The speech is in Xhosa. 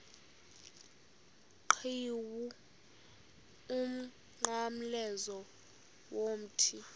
qhiwu umnqamlezo womthi